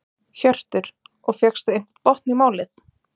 Hjörtur: Og fékkstu einhvern botn í málið?